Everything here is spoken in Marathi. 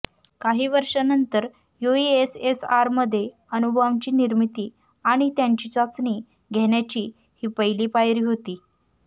काही वर्षांनंतर युएसएसआरमध्ये अणुबॉम्बची निर्मिती आणि त्याची चाचणी घेण्याची ही पहिली पायरी होती